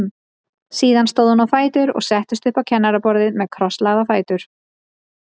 Síðan stóð hún á fætur og settist upp á kennaraborðið með krosslagða fætur.